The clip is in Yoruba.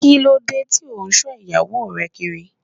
Kílódé ti o n so ìyàwó re Kiri?